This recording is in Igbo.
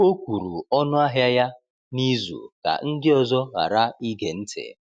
O kwuru ọnụahịa ya n’izu ka ndị ọzọ ghara ige ya ntị.